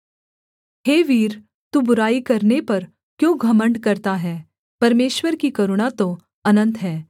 हे वीर तू बुराई करने पर क्यों घमण्ड करता है परमेश्वर की करुणा तो अनन्त है